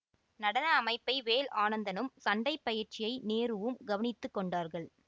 நடன அமைப்பை வேல் ஆனந்தனும் சண்டை பயிற்சியை நேருவும் கவனித்து கொண்டார்கள்